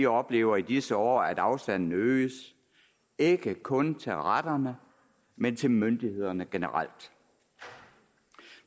oplever i disse år at afstanden øges ikke kun til retterne men til myndighederne generelt